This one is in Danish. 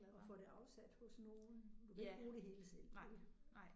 Og får det afsat hos nogen? Du kan ikke bruge det hele selv ikke?